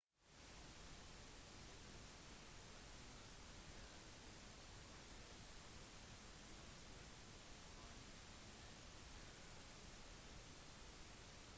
konseptet kom fra kina der blomstrende plommeblomster var den mest populære blomsten